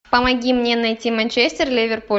помоги мне найти манчестер ливерпуль